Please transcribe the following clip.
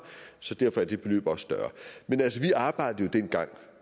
så derfor er det beløb også større men altså vi arbejdede jo dengang